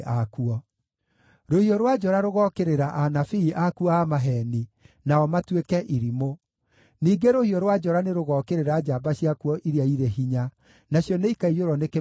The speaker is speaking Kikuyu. Rũhiũ rwa njora rũgookĩrĩra anabii akuo a maheeni, nao matuĩke irimũ. Ningĩ rũhiũ rwa njora nĩrũgookĩrĩra njamba ciakuo iria irĩ hinya, nacio nĩikaiyũrwo nĩ kĩmako kĩnene.